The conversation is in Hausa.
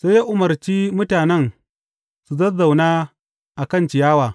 Sai ya umarci mutanen su zazzauna a kan ciyawa.